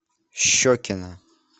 щекино